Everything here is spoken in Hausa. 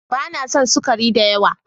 Ba na son sukari da yawa.